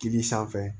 Kili sanfɛ